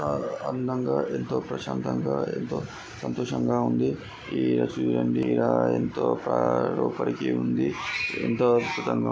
ఆ అందంగా ఎంతో ప్రశాంతంగా ఎంతో సంతోషంగా ఉంది. ఆ ఇడ చూడండి ఎంతో లోపలికి ఉంది. ఎంతో అద్భుతంగా--